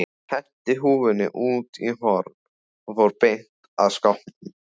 Henti húfunni út í horn og fór beint að skápnum.